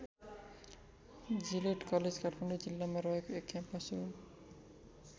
Gillette college Kathmandu जिल्लामा रहेको एक क्याम्पस हो।